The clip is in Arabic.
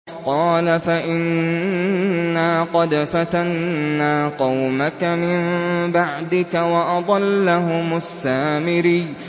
قَالَ فَإِنَّا قَدْ فَتَنَّا قَوْمَكَ مِن بَعْدِكَ وَأَضَلَّهُمُ السَّامِرِيُّ